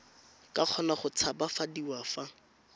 ka kgona go tshabafadiwa fa